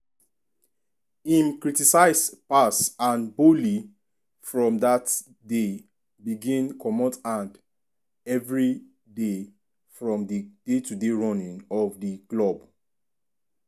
im criticize pass and boehly from dat day begin comot hand evriday from di day-to-day running of di club.